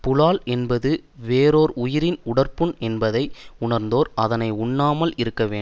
புலால் என்பது வேறோர் உயிரின் உடற்புண் என்பதை உணர்ந்தோர் அதனை உண்ணாமல் இருக்கவேண்டும்